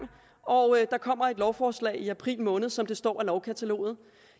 og der kommer et lovforslag i april måned som der står i lovkataloget